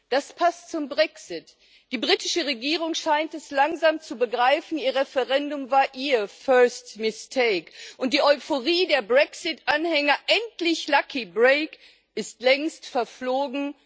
Das passt zum Brexit. Die britische Regierung scheint es langsam zu begreifen Ihr Referendum war ihr und die Euphorie der Brexit Anhänger endlich ist längst verflogen.